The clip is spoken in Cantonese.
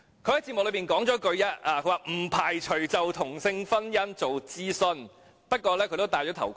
"雖然她在節目中也說了一句："不排除就同性婚姻做諮詢"，不過她也"戴頭盔"。